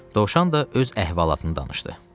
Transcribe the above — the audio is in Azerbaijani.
Dovşan da öz əhvalatını danışdı.